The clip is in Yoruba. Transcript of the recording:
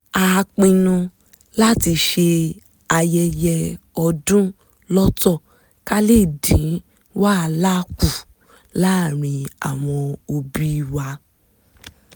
a pinnu láti ṣe ayẹyẹ ọdún lọ́tọ̀ ká lè dín wàhálà kù láàárín àwọn òbí wa